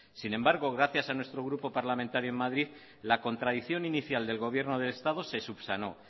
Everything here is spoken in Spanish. sin embargo gracias a nuestro grupo parlamentario en madrid la contradicción inicial del gobierno del estado se subsanó